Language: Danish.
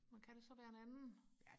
men kan det så være en anden